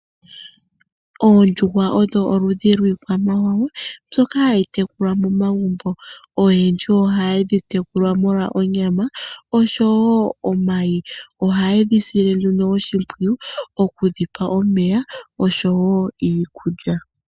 Oondjuhwa odho oludhi lwiikwamawa mbyoka hayi tekulwa momagumbo. Oyendji ohaye dhi tekula molwa onyama osho wo omayi. Ohaye dhi sile nduno oshimpwiyu oku dhi pa omeya osho wo iikulya.